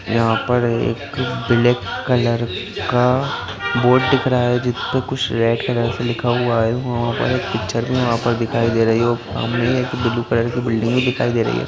यहाँ पर एक ब्लैक कलर का बोर्ड दिख रहा है जिसपे कुछ रेड कलर से लिखा हुआ है वहाँ पर एक पिक्चर भी वहाँ पर दिखाई दे रही ओ सामने एक ब्लू कलर की बिल्डिंग भी दिखाई दे रही है।